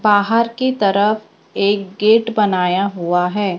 बाहर की तरफ एक गेट बनाया हुआ है।